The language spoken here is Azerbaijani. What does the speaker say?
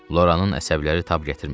Loranın əsəbləri tab gətirmədi.